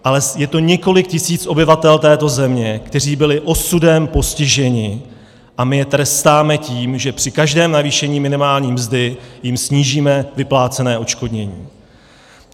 Ale je to několik tisíc obyvatel této země, kteří byli osudem postiženi, a my je trestáme tím, že při každém navýšení minimální mzdy jim snížíme vyplácené odškodnění.